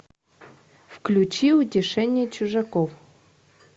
включи утешение чужаков